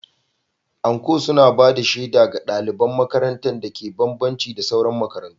Anko suna ba da shaida ga ɗaliban makarantar dake bambanci da sauran makarantu.